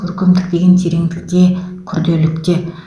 көркемдік деген тереңдікте күрделілікте